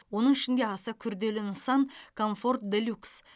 оның ішінде аса күрделі нысан комфорт де люкс